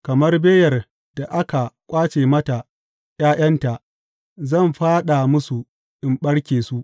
Kamar beyar da aka ƙwace mata ’ya’yanta, zan fāɗa musu in ɓarke su.